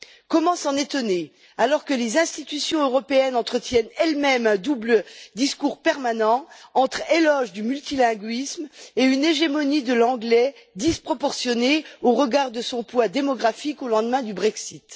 Comment s'en étonner alors que les institutions européennes entretiennent elles mêmes un double discours permanent entre éloge du multilinguisme et une hégémonie de l'anglais disproportionnée au regard de son poids démographique au lendemain du Brexit.